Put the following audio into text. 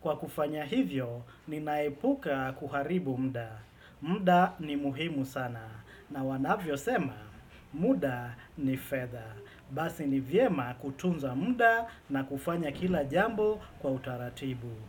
Kwa kufanya hivyo, ninaepuka kuharibu muda. Mda ni muhimu sana. Na wanavyosema, muda ni fedha. Basi ni vyema kutunza muda na kufanya kila jambo kwa utaratibu.